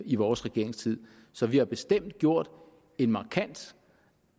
i vores regeringstid så vi har bestemt gjort en markant